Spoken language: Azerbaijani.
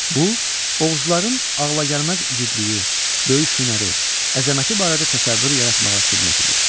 Bu, oğuzların ağlagəlməz igidliyi, döyüş hünəri, əzəməti barədə təsəvvür yaratmağa xidmət edir.